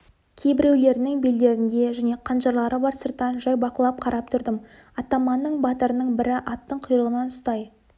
кейбіреулерінің белдерінде және қанжарлары бар сырттан жай бақылап қарап тұрдым атаманның батырының бірі аттың құйрығынан ұстай